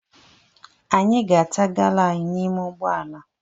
Anyị ga-ata gala anyị n'ime ụgbọala.